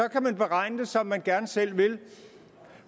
kan beregne det som man gerne selv vil